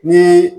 Ni